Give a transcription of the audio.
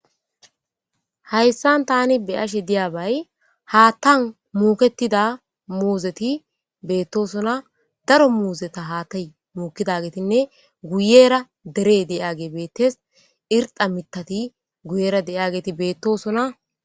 hayssan tani be'ashe di'abay haattan muketida muuzeti beettosona daro muuzeta haatay muukidagetinne guyera dere de'age beettes irxa mitati guyera de'iyageeti beettosona